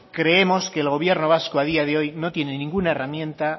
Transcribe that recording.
creemos que el gobierno vasco a día de hoy no tiene ninguna herramienta